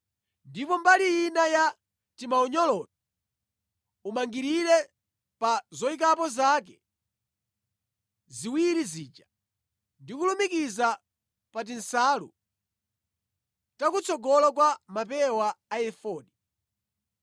Ndipo mbali ina ya timaunyoloto umangirire pa zoyikapo zake ziwiri zija ndi kulumikiza pa tinsalu takutsogolo kwa mapewa a efodi.